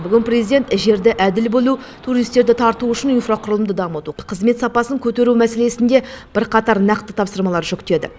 бүгін президент жерді әділ бөлу туристерді тарту үшін инфрақұрылымды дамыту қызмет сапасын көтеру мәселесінде бірқатар нақты тапсырмалар жүктеді